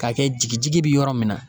K'a kɛ jigin jigin be yɔrɔ min na